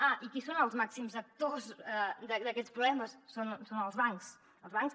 ah i qui són els màxims actors d’aquests problemes són els bancs els bancs